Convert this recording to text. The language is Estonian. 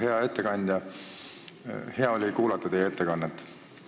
Hea ettekandja, hea oli kuulata teie ettekannet.